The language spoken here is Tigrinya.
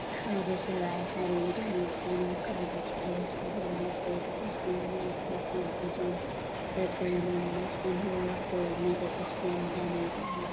ሓደ ሰብአይ ሓደ ኢዶም አውፂኦም አብ ከባቢ ብጫ ሕብሪ ዝተለመፀ ቤተ ክርስትያን ማይክሮፎን ሒዞም ጠጠው ኢሎም እናስተምሃሩ ይርከቡ፡፡ እዚ ቤተ ክርስትያን እንዳመን ተባሂሉ ይፍለጥ?